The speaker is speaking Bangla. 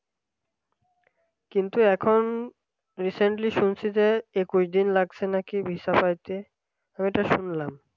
কিন্তু এখন recently শুনছি যে একুশ দিন লাগছে নাকি visa পাইতে আমি তো শুনলাম